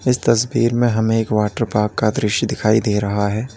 इस तस्वीर हमें एक वाटर पार्क का दृश्य दिखाई दे रहा है।